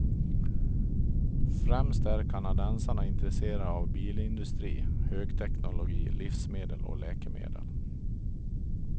Främst är kanadensarna intresserade av bilindustri, högteknologi, livsmedel och läkemedel.